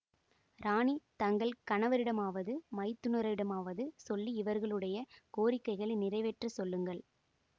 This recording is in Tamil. ராணி தங்கள் கணவரிடமாவது மைத்துனரிடமாவது சொல்லி இவர்களுடைய கோரிக்கையை நிறைவேற்றச் சொல்லுங்கள்